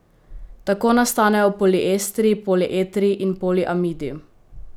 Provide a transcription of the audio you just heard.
Tako nastanejo poliestri, polietri in poliamidi.